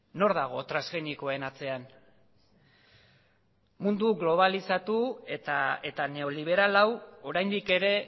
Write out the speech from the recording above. nor dago transgenikoen atzean mundu globalizatu eta neoliberal hau oraindik ere